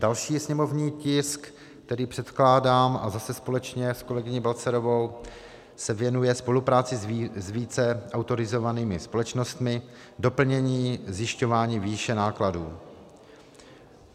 Další sněmovní tisk, který předkládám, a zase společně s kolegyní Balcarovou, se věnuje spolupráci s více autorizovanými společnostmi - doplnění zjišťování výše nákladů.